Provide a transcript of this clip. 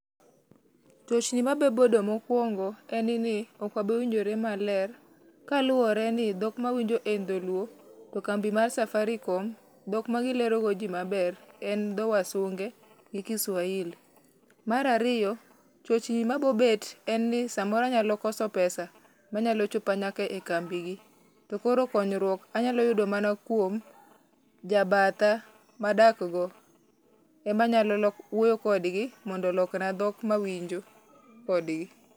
Chochni mabobedo mokuongo en ni okwabi winjore maler, kaluwore ni dhok mawinjo en dholuo. To kambi mar safaricom, dhok ma gilero go ji maber en dho wasunge gi kiswahili. Mar ariyo, chochni mabobet en ni samoro anyalo koso pesa manyalo chopa nyaka e kambi gi. To koro konyruok anyalo yudo mana kuom, jabatha madak go, ema anyalo wuoyo kodgi mondo olokna dhok mawinjo kodgi.